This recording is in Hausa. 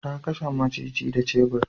Ta kashe maciji da shebur.